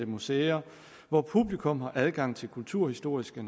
museer hvor publikum har adgang til kulturhistoriske